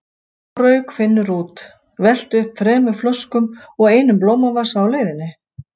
Svo rauk Finnur út, velti um þremur flöskum og einum blómavasa á leiðinni.